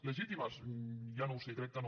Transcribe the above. legítimes ja no ho sé crec que no